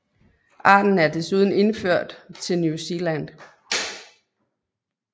Arten er desuden indført til New Zealand